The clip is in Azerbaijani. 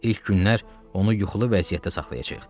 İlk günlər onu yuxulu vəziyyətdə saxlayacağıq.